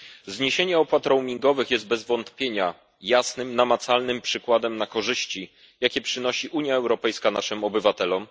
Zniesienie opłat roamingowych jest bez wątpienia jasnym, namacalnym przykładem korzyści, jakie przynosi Unia Europejska naszym obywatelom.